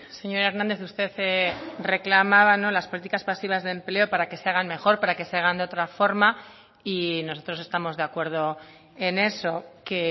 señor hernández usted reclamaba las políticas pasivas de empleo para que se hagan mejor para que se hagan de otra forma y nosotros estamos de acuerdo en eso que